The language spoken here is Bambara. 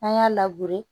An y'a